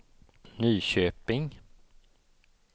Nyköping